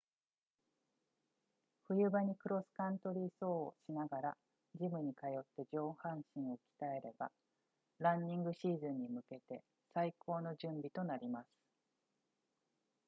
冬場にクロスカントリー走をしながらジムに通って上半身を鍛えればランニングシーズンに向けて最高の準備となります